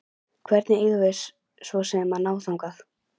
Hvernig eigum við svo sem að ná þangað?